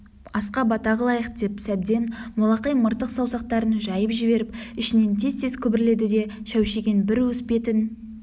асқа бата қылайық деп сәбден молақай мыртық саусақтарын жайып жіберіп ішінен тез-тез күбірледі де шәушиген бір уыс бетін